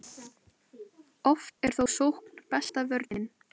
oft er þó sókn besta vörnin